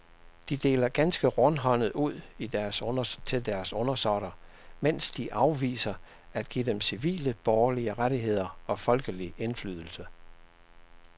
De deler ganske rundhåndet ud til deres undersåtter, mens de afviser at give dem civile borgerlige rettigheder og folkelig indflydelse.